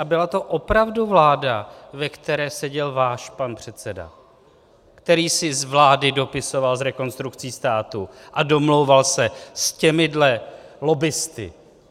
A byla to opravdu vláda, ve které seděl váš pan předseda, který si z vlády dopisoval s Rekonstrukcí státu a domlouval se s těmihle lobbisty.